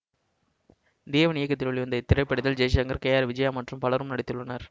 தேவன் இயக்கத்தில் வெளிவந்த இத்திரைப்படத்தில் ஜெய்சங்கர் கே ஆர் விஜயா மற்றும் பலரும் நடித்துள்ளனர்